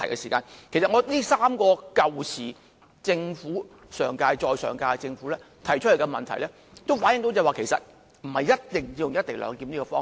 這3個由上屆再上屆的政府提出來的問題，反映到不一定要採用"一地兩檢"的方式。